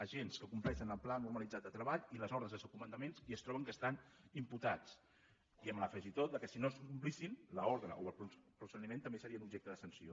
agents que compleixen el pla normalitzat de treball i les ordres dels seus comandaments i es troben que estan imputats i amb l’afegitó que si no es complissin l’ordre o el procediment també serien objecte de sanció